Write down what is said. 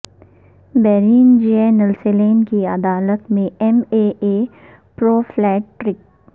brain J Nelson کی عدالت میں M A A pro flat track